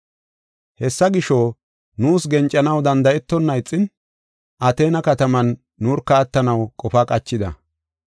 Hessa gisho, nuus gencanaw danda7etonna ixin, Ateena kataman nurka attanaw qofa qachida.